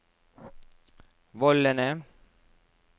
vollene